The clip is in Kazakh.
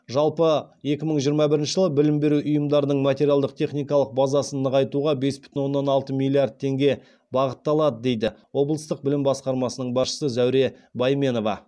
жалпы екі мың жиырмам бірінші жылы білім беру ұйымдарының материалдық техникалық базасын нығайтуға бес бүтін оннан алты миллиард теңге бағытталады дейді облыстық білім басқармасының басшысы зәуре бәйменова